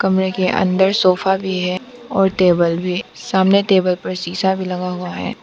कमरे के अंदर सोफा भी है और टेबल भी सामने टेबल पर शीशा भी लगा हुआ है।